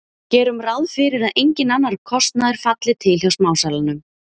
Gerum ráð fyrir að enginn annar kostnaður falli til hjá smásalanum.